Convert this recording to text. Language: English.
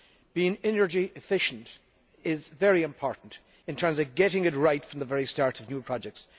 Being energy efficient is very important in terms of getting it right from the very start of new projects.